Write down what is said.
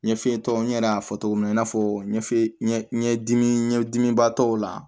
Ɲɛf'e tɔ n yɛrɛ y'a fɔ cogo min na i n'a fɔ ɲɛ fe ɲɛ ɲɛdimi ɲɛdimi batɔw la